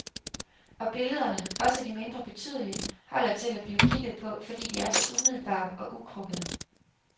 Og billederne, også de mindre betydelige, holder til at blive kigget på, fordi de er så umiddelbare og ukrukkede.